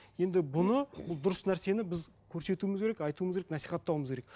енді бұны бұл дұрыс нәрсені біз көрсетуіміз керек айтуымыз керек насихаттауымыз керек